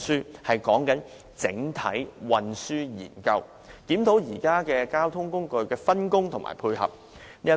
我所說的是"整體"運輸研究，檢討現時交通工具的分工和配合。